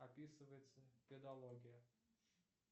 описывается педология